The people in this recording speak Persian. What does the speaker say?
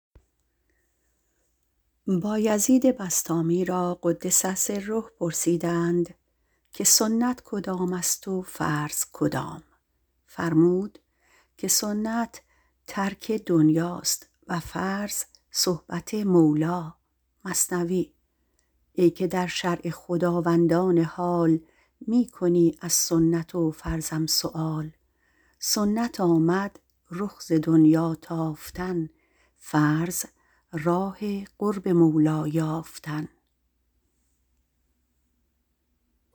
بایزید را - قدس الله تعالی سره - پرسیدند که سنت کدام است و فرض کدام فرمود که سنت ترک دنیا است و فرض صحبت مولا ای که در شرع خداوندان حال می کنی از سنت و فرضم سؤال سنت آمد رخ ز دنیا تافتن فرض راه قرب مولا یافتن